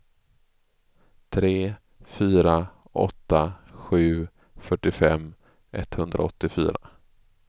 tre fyra åtta sju fyrtiofem etthundraåttiofyra